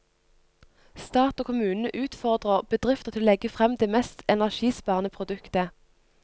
Stat og kommune utfordrer bedrifter til å legge frem det mest energisparende produktet.